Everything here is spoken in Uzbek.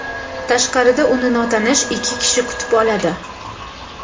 Tashqarida uni notanish ikki kishi kutib oladi.